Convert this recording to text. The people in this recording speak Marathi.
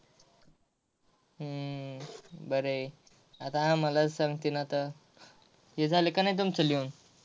हम्म बर आहे आता आम्हालाच सांगितल आता हे झालं का नाही तुमच लिहून.